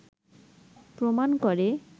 প্রমাণ করে